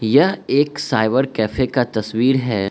यह एक cyber cafe का तस्वीर है।